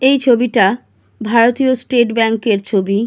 এই ছবিটা ভারতীয় স্টেট ব্যাংক এর ছবি ।